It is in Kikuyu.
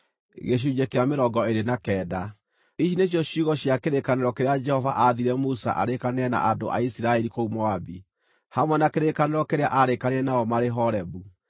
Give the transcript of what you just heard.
Ici nĩcio ciugo cia kĩrĩkanĩro kĩrĩa Jehova aathire Musa arĩkanĩre na andũ a Isiraeli kũu Moabi, hamwe na kĩrĩkanĩro kĩrĩa aarĩkanĩire nao marĩ Horebu.